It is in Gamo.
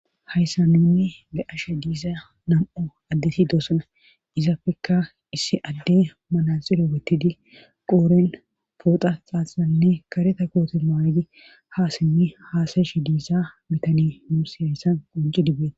hayssa nunni be'ashe diiza nam7o addeti doosana izapekka issi adde manaxilo wetidi qooren pooxa xaaxanne kareta koote magi ha sinni haasayshi diissa bitanii nuus hayssan qoncidi bbeetes